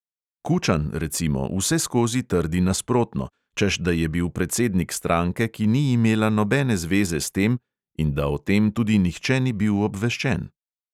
Kučan, recimo, vseskozi trdi nasprotno, češ da je bil predsednik stranke, ki ni imela nobene zveze s tem, in da o tem tudi nihče ni bil obveščen.